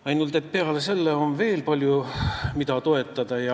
Ainult et peale selle on veel palju muud, mida on vaja toetada.